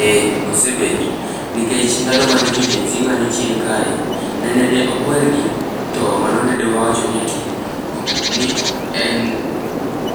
Eh osebet nikech ndalo mane jo gen z ng'anyo chien kae, nene de okwergi to mano dine wawacho ni ati ok ni ok en